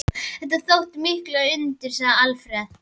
Þetta þóttu mikil undur, segir Alfreð.